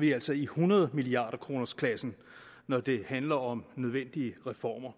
vi altså i hundrede milliarderkronersklassen når det handler om nødvendige reformer